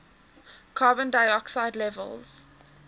carbon dioxide levels